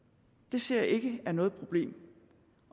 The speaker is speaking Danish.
ser jeg ikke er noget problem